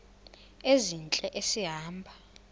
ezintle esi hamba